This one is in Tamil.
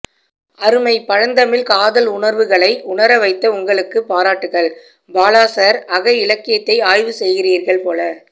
அருமை பழந்தமிழ் காதல் உணர்வுகளை உணர வைத்த உங்களுக்கு பாராட்டுக்கள் பாலா சார் அக இலக்கியத்தை ஆய்வு செய்கிறீர்கள் போல